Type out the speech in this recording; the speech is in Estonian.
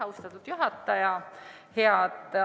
Austatud juhataja!